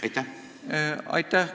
Aitäh!